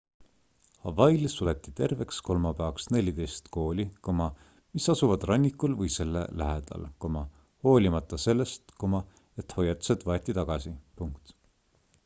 hawaiil suleti terveks kolmapäevaks 14 kooli mis asuvad rannikul või selle lähedal hoolimata sellest et hoiatused võeti tagasi